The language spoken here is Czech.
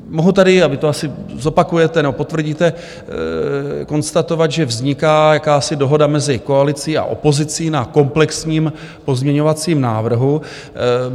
Mohu tady, a vy to asi zopakujete nebo potvrdíte, konstatovat, že vzniká jakási dohoda mezi koalicí a opozicí na komplexním pozměňovacím návrhu.